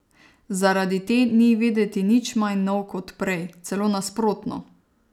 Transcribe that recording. Zaradi te ni videti nič manj nov kot prej, celo nasprotno.